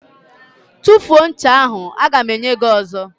Tufuo ncha ahụ! A ga m enye gị ọzọ.